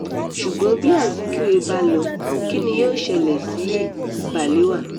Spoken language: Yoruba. ṣùgbọ́n bí azikiwe bá lọ kín ni yóò ṣẹlẹ̀ sí balewa